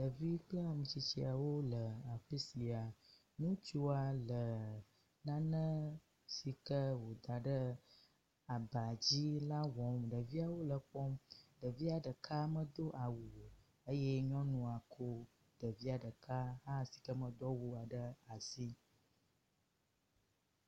Ɖevi kple ame tsitsawo le afi sia. Ŋutsua le nane si ke woda ɖe aba dzi la wɔm. Ɖeviawo le kpɔm. Ɖevia ɖeka medo awu o eye nyɔnu ko ɖevia ɖeka hã si ke medo awua ɖe asi.